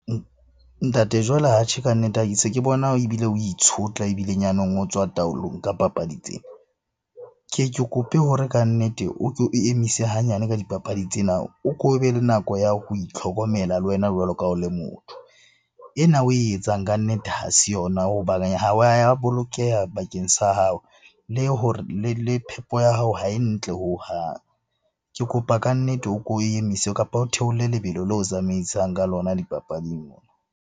Ntate jwale atjhe ka nnete ke se ke bona ebile o itshotla, ebile nyaneng o tswa taolong ka papadi tsena. Ke ye ke kope hore kannete o ke o emise hanyane ka dipapadi tsena, o ko be le nako ya ho itlhokomela le wena jwalo ka ha o le motho. Ena oe etsang kannete ha se yona bolokeha bakeng sa hao le hore le phepo ya hao ha e ntle hohang. Ke kopa kannete o ko emise, kapa o theole lebelo leo tsamaisang ka lona dipapading ona.